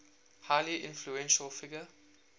highly influential figure